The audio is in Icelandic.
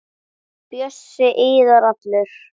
Bjössi iðar allur.